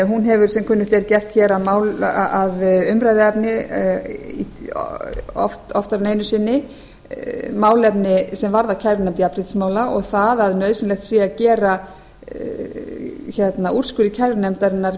hún hefur sem kunnugt er gert hér að umræðuefni oftar en efnis inni málefni sem varða kærunefnd jafnréttismála og það að nauðsynlegt sé að gera úrskurði kærunefndarinnar